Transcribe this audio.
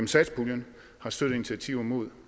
satspuljen har støttet initiativer mod